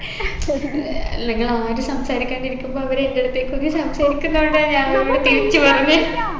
നിങ്ങള് ആരും സംസാരിക്കാണ്ടിരിക്കുമ്പൊ അവര് എൻെറ അടുത്തേക്ക് വന്നു സംസാരിക്കുന്നോണ്ടാ ഞാൻ അവരോട് തിരിച്ചു പറഞ്ഞെ